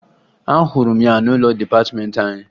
Ahụrụ m ya n'ụlọ dịpatịmeentị anyị